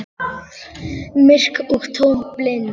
Myrk og tóm og blind.